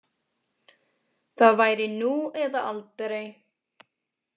Það væri nú eða aldrei.